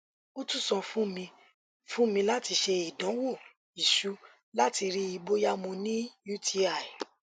o tun sọ fun mi fun mi lati ṣe idanwo iṣu lati rii boya mo ni uti